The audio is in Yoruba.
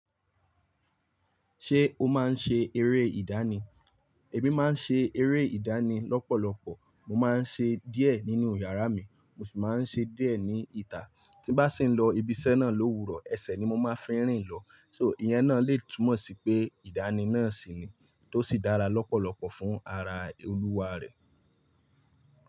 Ṣé o máa ń ṣe eré ìdánì? Ẹ̀mí máa ń ṣe eré ìdánì lọ́pọ̀lọpọ̀. Mo máa ń ṣe díẹ̀ nínú yàrá mi, mo sì máa ń ṣe díẹ̀ ní ìta. Tí bá sì ń lọ ibi iṣẹ́ náà lówurọ̀, ẹsẹ̀ ni mo máa fi rìn lọ. So ìyẹn náà lè túmọ̀ sí pé ìdánì náà sì ni tó sì dára lọ́pọ̀lọpọ̀ fún ara olúwa rẹ̀.